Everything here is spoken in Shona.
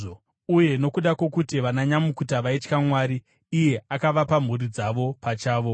Uye nokuda kwokuti vananyamukuta vaitya Mwari, iye akavapa mhuri dzavo pachavo.